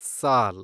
ಸಾಲ್